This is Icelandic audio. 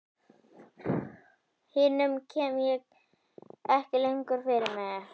Hinum kem ég ekki lengur fyrir mig.